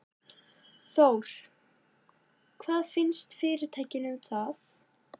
Þór: Hvað finnst fyrirtækinu um það?